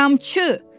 Qiyamçı!